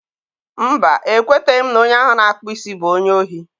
mba, e kweteghị m na onye ahụ na-akpụ isi bụ onye ohi.